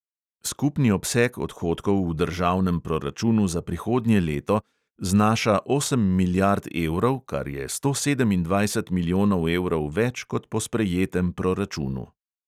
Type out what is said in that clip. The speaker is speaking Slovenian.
Skupni obseg odhodkov v državnem pruračunu za prihodnje leto znaša osem milijard evrov, kar je sto sedemindvajset milijonov evrov več kot po sprejetem proračunu.